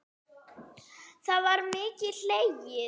Það var mikið hlegið.